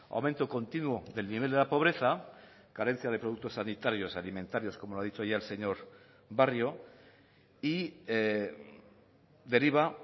aumento continuo del nivel de la pobreza carencia de productos sanitarios alimentarios como lo ha dicho ya el señor barrio y deriva